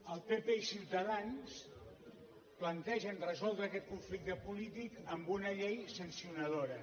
el pp i ciutadans plantegen resoldre aquest conflicte polític amb una llei sancionadora